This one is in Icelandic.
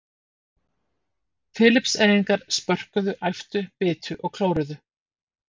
Filippseyingar, spörkuðu, æptu, bitu og klóruðu.